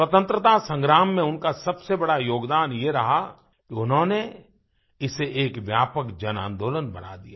स्वतंत्रता संग्राम में उनका सबसे बड़ा योगदान ये रहा कि उन्होंने इसे एक व्यापक जनआंदोलन बना दिया